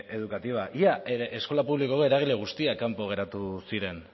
educativa ia eskola publikoko eragile guztiak kanpo geratu ziren